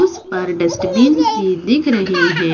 उस पर डस्टबिन भी दिख़ रहे हैं।